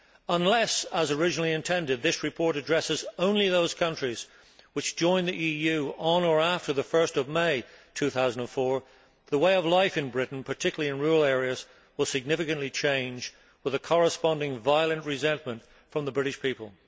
Unless, as originally intended, this report addresses only those countries which joined the EU on or after 1 May 2004, the way of life in Britain, particularly in rural areas, will significantly change with a correspondingly violent resentment from the British people.